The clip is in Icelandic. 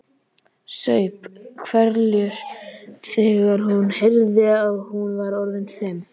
Saup hveljur þegar hún heyrði að hún var orðin fimm.